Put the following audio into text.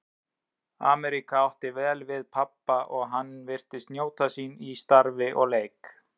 Ameríka átti vel við pabba og hann virtist njóta sín í starfi og leik.